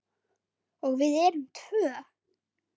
Og við erum tvö.